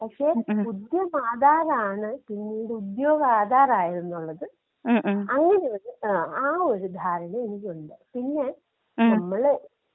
പക്ഷേ ഉദ്യം ആധാറാണ് പിന്നീട് ഉദ്യോഗാധാറായതെന്നുള്ളത്. അങ്ങനെയൊരു ആ ഒരു ധാരണ എനിക്കുണ്ട് പിന്നേ നമ്മള്.